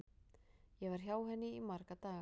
Ég var hjá henni í marga daga.